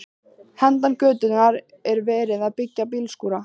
Handan götunnar er verið að byggja bílskúra.